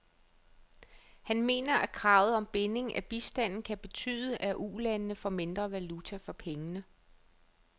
Han mener, at kravet om binding af bistanden kan betyde, at ulandene får mindre valuta for pengene.